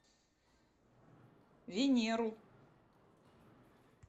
венеру